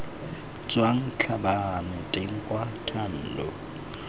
tswang tlhabane teng kwa thando